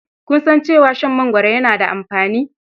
Kun san cewa shan mangoro yana da amfani?